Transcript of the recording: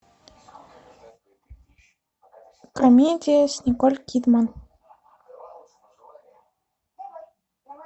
комедия с николь кидман